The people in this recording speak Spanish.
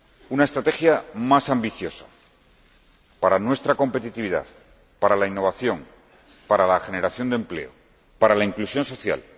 Una estrategia más ambiciosa para nuestra competitividad, para la innovación, para la generación de empleo, para la inclusión social.